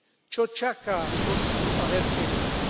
Čo čaká Bosnu a Hercegovinu?